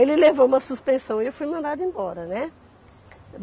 Ele levou uma suspensão e eu fui mandada embora, né.